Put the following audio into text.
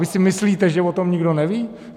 Vy si myslíte, že o tom nikdo neví?